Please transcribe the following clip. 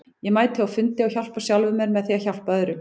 Ég mæti á fundi og hjálpa sjálfum mér með því að hjálpa öðrum.